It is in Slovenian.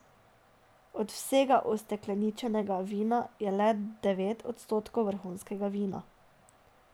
Od vsega ustekleničenega vina je le devet odstotkov vrhunskega vina.